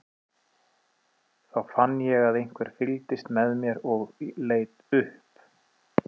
Þá fann ég að einhver fylgdist með mér og leit upp.